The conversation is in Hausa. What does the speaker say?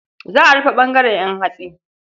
Za a rufe ɓangaren ƴan hatsi.